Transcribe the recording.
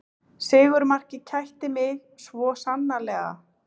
Sigurmarkið kætti mig svo sannarlega